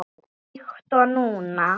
Líkt og núna.